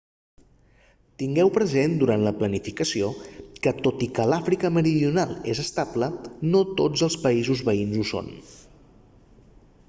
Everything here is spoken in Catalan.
tingueu present durant la planificació que tot i que l'àfrica meridional és estable no tots els països veïns ho són